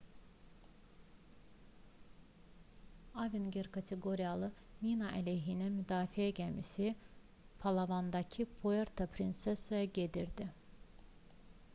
avenger kateqoriyalı mina-əleyhinə müdafiə gəmisi palavandakı puerto prinsesaya gedirdi